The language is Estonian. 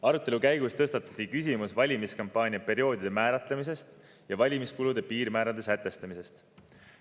Arutelu käigus tõstatati küsimus valimiskampaania perioodide määratlemisest ja valimiskulude piirmäärade sätestamisest.